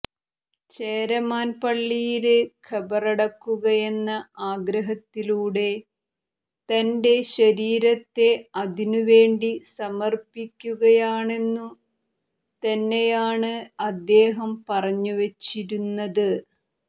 ചേരമാന് പള്ളിയില് ഖബറടക്കുകയെന്ന ആഗ്രഹത്തിലൂടെ തന്റെ ശരീരത്തെ അതിനുവേണ്ടി സമര്പ്പിക്കുകയാണെന്നു തന്നെയാണ് അദ്ദേഹം പറഞ്ഞുവച്ചിരുന്നത്